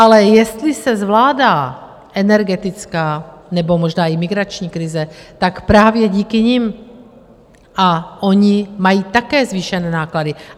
Ale jestli se zvládá energetická nebo možná i migrační krize, tak právě díky nim, a oni mají také zvýšené náklady.